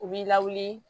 U b'i lawuli